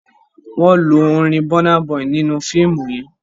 Wón ló orin Burna boy nínú fiimu yén.